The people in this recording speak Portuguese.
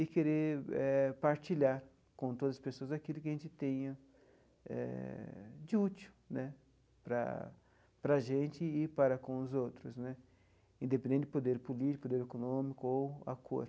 e querer eh partilhar com todas as pessoas aquilo que a gente tenha eh de útil né para para a gente e para com os outros né, independente de poder político, do econômico ou a cor.